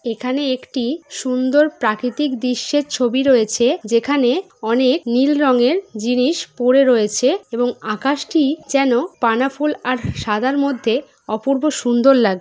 এখানে একটি সুন্দর প্রাকৃতিক দৃশ্যের ছবি রয়েছে যেখানে অনেক নীল রঙের জিনিস পড়ে রয়েছে এবং আকাশটি যেন পানা ফুল আর সাদার মধ্যে অপূর্ব সুন্দর লাগ --